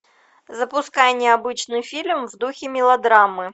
запускай необычный фильм в духе мелодрамы